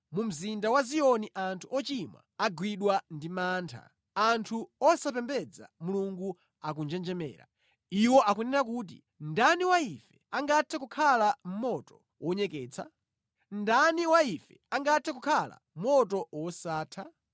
Mu mzinda wa Ziyoni anthu ochimwa agwidwa ndi mantha; anthu osapembedza Mulungu akunjenjemera: Iwo akunena kuti, “Ndani wa ife angathe kukhala mʼmoto wonyeketsa? Ndani wa ife angathe kukhala moto wosatha?”